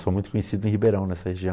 Sou muito conhecido em Ribeirão, nessa região.